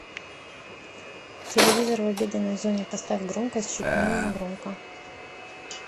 телевизор в обеденной зоне поставь громкость чуть менее громко